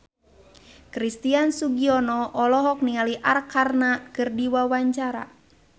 Christian Sugiono olohok ningali Arkarna keur diwawancara